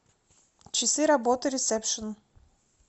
часы работы ресепшн